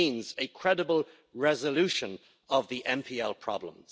It means a credible resolution of the NPL problem.